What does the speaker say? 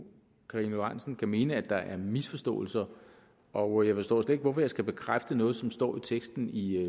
karina lorentzen dehnhardt kan mene at der er misforståelser og jeg forstår slet ikke hvorfor jeg skal bekræfte noget som står i teksten i